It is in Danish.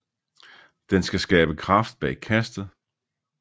Den skal skabe kraft bag kastet